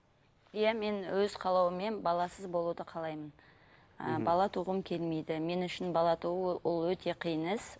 иә мен өз қалауыммен баласыз болуды қалаймын ы бала туғым келмейді мен үшін бала туу ол өте қиын іс